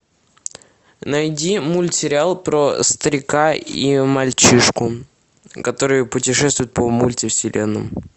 найди мультсериал про старика и мальчишку которые путешествуют по мультивселенным